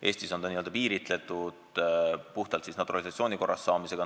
Eestis on see piiritletud vaid naturalisatsiooni korras kodakondsuse saamisega.